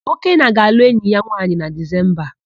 Okenna ga-alụ enyi ya nwaanyị na Dizemba a.